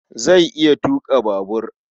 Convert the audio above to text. Zai iya tuƙa babur.